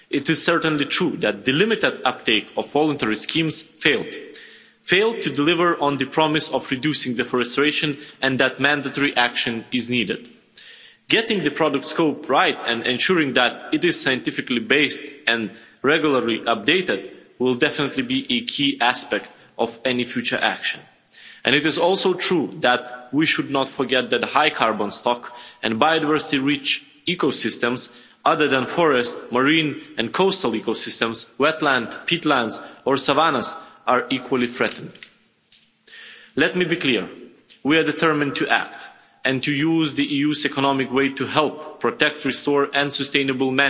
It is certainly true that the limited uptake of voluntary schemes failed failed to deliver on the promise of reducing deforestation and that mandatory action is needed. Getting the product scope right and ensuring that it is scientifically based and regularly updated will definitely be a key aspect of any future action. It is also true that we should not forget that high carbon stock and biodiversity rich ecosystems, other than forest, marine and coastal ecosystems, wetlands, peatlands or savannas are equally threatened. Let me be clear, we are determined to act and to use the EU's economic weight to help protect, restore and sustainably